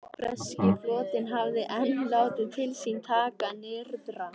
Breski flotinn hafði enn látið til sín taka nyrðra.